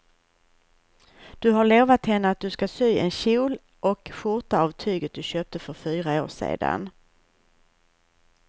Du har lovat henne att du ska sy en kjol och skjorta av tyget du köpte för fyra år sedan.